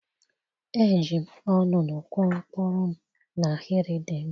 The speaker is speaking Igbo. eji m olulu kụọ mkpụrụ m n'ahịrị dị mma.